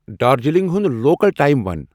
دارجلنگ ہُنٛد local time وَن